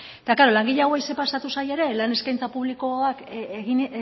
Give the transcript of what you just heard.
eta klaro langile hauei zer pasatu zaie ere lan eskaintza publikoak egin